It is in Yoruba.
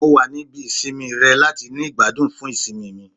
Mo wa ni ibi isinmi rẹ lati ni igbadun fun isinmi mi